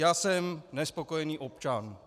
Já jsem nespokojený občan.